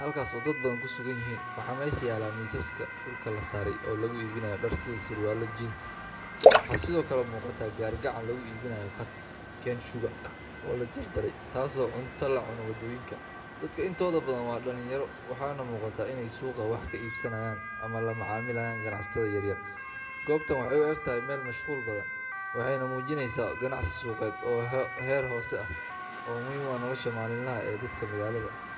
halkaas oo dad badan ku sugan yihiin. Waxaa meesha yaalla miisaska dhulka la saaray oo lagu iibinayo dhar, sida surwaallo jeans. Waxaa sidoo kale muuqata gaari gacan lagu iibinayo qaad cane sugar oo la jarjaray, taas oo ah cunto la cuno waddooyinka. Dadka intooda badan waa dhalinyaro, waxaana muuqata inay suuqa wax ka iibsanayaan ama la macaamilayaan ganacsatada yaryar. Goobtan waxay u egtahay meel mashquul badan, waxayna muujinaysaa ganacsi suuqeed oo heer hoose ah oo muhiim u ah nolosha maalinlaha ah ee dadka magaalada.